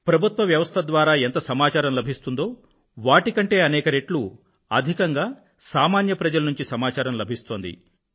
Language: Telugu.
ప్రభుత్వ వ్యవస్థ ద్వారా ఎంత సమాచారం లభిస్తుందో వాటి కంటే అనేక రెట్లు అధికంగా సామాన్య ప్రజల నుండి సమాచారం లభిస్తోంది